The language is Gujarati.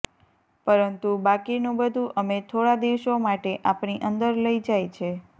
પરંતુ બાકીનું બધું અમે થોડા દિવસો માટે આપણી અંદર લઇ જાય છે